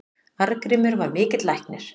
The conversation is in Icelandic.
Arngrímur var mikill læknir.